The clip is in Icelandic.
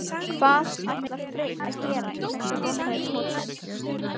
Hvað ætlar Freyr að gera í þessum lokaleik mótsins?